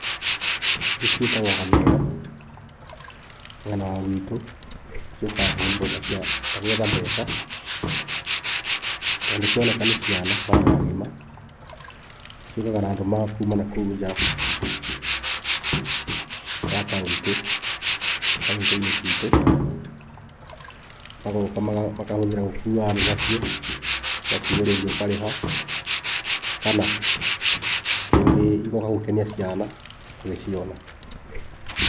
Ici ciĩtagwo ngamĩra, mwena wa guitũ ciũkaga kũhũthĩrwo ta cia ta gwetha mbeca, tondũ cioneka nĩ ciana na andũ agima, ciũkaga na andũ ma kuuma na kũu nja ya kauntĩ kauntĩ-inĩ citũ, magoka makahũthĩra gũkua andũ na cio, ũgakuo rĩngĩ ũkarĩha kana rĩngĩ igoka gũkenia ciana magĩciona.